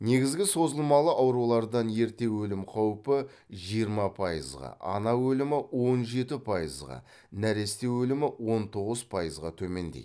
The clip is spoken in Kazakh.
негізгі созылмалы аурулардан ерте өлім қаупі жиырма пайызға ана өлімі он жеті пайызға нәресте өлімі он тоғыз пайызға төмендейді